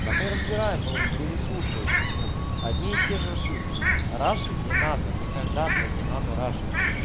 да мы разбираем но вы не слушаете ну одни и те же ошибки мм рашить не надо никогда блять не надо рашить